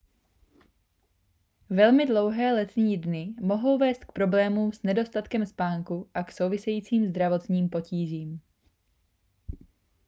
velmi dlouhé letní dny mohou vést k problémům s nedostatkem spánku a k souvisejícím zdravotním potížím